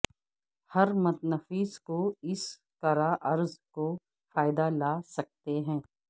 ہر متنفس کو اس کرہ ارض کو فائدہ لا سکتے ہیں